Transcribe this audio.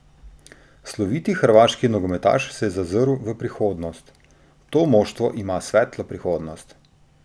Sloviti hrvaški nogometaš se je zazrl v prihodnost: "To moštvo ima svetlo prihodnost.